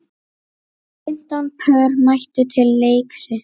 Fimmtán pör mættu til leiks.